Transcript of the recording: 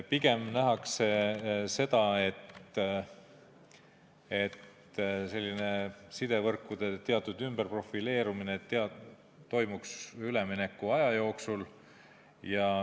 Pigem nähakse, et selline sidevõrkude ümberprofileerumine toimuks üleminekuaja jooksul.